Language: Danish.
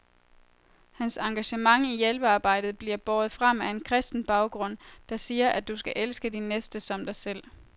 Hans engagement i hjælpearbejdet bliver båret frem af en kristen baggrund, der siger, at du skal elske din næste som dig selv.